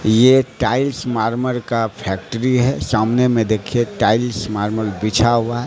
ये टाइल्स मार्मर का फैक्ट्री है सामने में देखिए टाइल्स मार्मर बिछा हुआ--